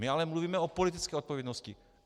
My ale mluvíme o politické odpovědnosti.